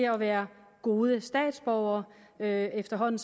at være gode statsborgere efterhånden